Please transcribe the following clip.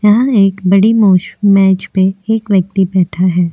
यहाँ एक बड़ी मोश मेज पे एक व्यक्ति बैठा है।